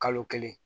Kalo kelen